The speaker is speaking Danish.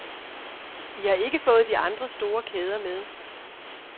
I har ikke fået de andre store kæder med.